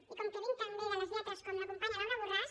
i com que vinc també de les lletres com la companya laura borràs